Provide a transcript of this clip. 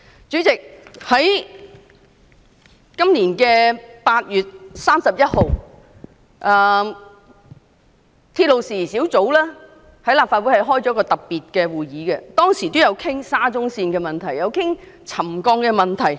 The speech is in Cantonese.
主席，今年8月31日，立法會鐵路事宜小組委員會曾舉行特別會議，當時討論到沙中線的沉降問題。